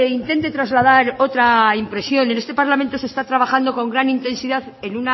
intente trasladar otra impresión en este parlamento se está trabajando con gran intensidad en